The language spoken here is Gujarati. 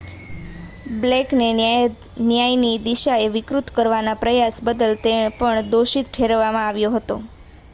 બ્લેકને ન્યાયની દિશાને વિકૃત કરવાના પ્રયાસ બદલ પણ દોષિત ઠેરવવામાં આવ્યો હતો